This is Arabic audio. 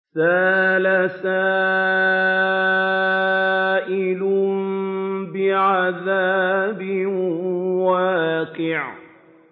سَأَلَ سَائِلٌ بِعَذَابٍ وَاقِعٍ